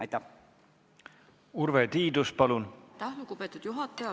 Aitäh, lugupeetud juhataja!